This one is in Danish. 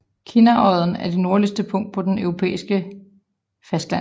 Kinnarodden er det nordligste punkt på det europæiske fastland